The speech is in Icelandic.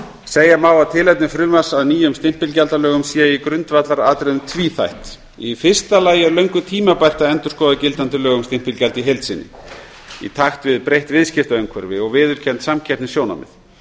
segja má að tilefni frumvarps að nýjum stimpilgjaldalögum sé í grundvallaratriðum tvíþætt í fyrsta lagi er löngu tímabært að endurskoða gildandi lög um stimpilgjald í heild sinni í takt við breytt viðskiptaumhverfi og viðurkennd samkeppnissjónarmið